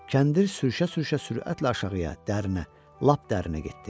Kəndir sürüşə-sürüşə sürətlə aşağıya, dərinə, lap dərinə getdi.